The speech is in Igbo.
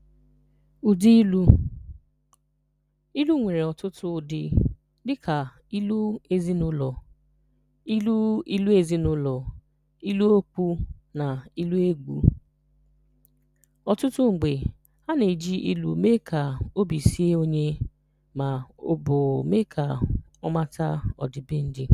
Ụdị ilu: Ilu nwere ọtụtụ ụdị, dịka ilu ezinụlọ, ilu ilu ezinụlọ, ilu okwu, na ilu egwu. Ọtụtụ mgbe, a na-eji ilu eme ka obi sie onye ma ọ bụ mee ka ọ mata ọdịbendị.